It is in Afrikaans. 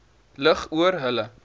lig oor hulle